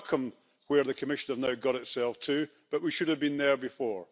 I welcome where the Commission has now got itself to, but we should have been there before.